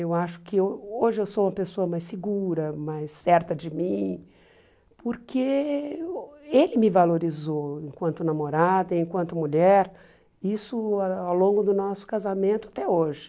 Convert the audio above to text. Eu acho que ho hoje eu sou uma pessoa mais segura, mais certa de mim, porque ele me valorizou enquanto namorada, enquanto mulher, isso ao longo do nosso casamento até hoje.